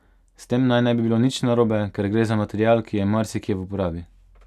S tem naj ne bi bilo nič narobe, ker gre za material, ki je marsikje v uporabi.